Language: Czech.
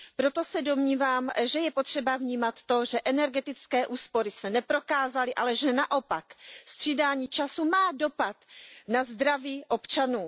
Proto se domnívám, že je potřeba vnímat to, že energetické úspory se neprokázaly, ale že naopak střídání času má dopad na zdraví občanů.